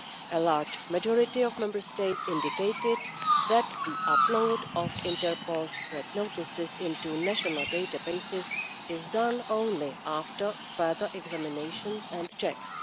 A large majority of Member States indicated that the upload of Interpol Red Notices into national databases is done only after further examinations and checks.